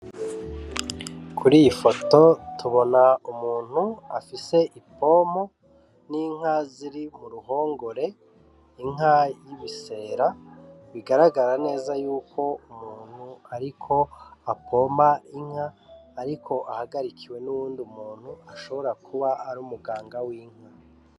Kuri iyi foto tubona umuntu afise ipompo, n'inka ziri ku ruhongore, inka y'ibisera, bigaragara neza yuko umuntu ariko apomba inka, ariko ahagarikiwe n'uwundi muntu ashobora kuba ari umuganga w'inka.